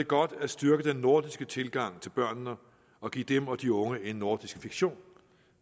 godt at styrke den nordiske tilgang til børnene og give dem og de unge en nordisk fiktion